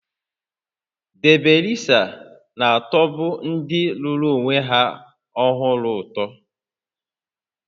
Debi resa na-atọbu ndị lụrụ onwe ha ọhụrụ ụtọ